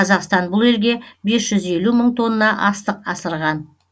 қазақстан бұл елге бес жүз елу мың тонна астық асырған